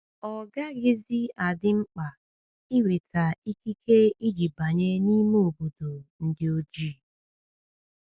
Ọ gaghịzi adị mkpa inweta ikike iji banye n’ime obodo ndị ojii.